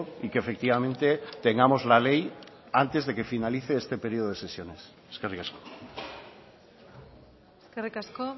y que efectivamente tengamos la ley antes de que finalice este periodo de sesiones eskerrik asko eskerrik asko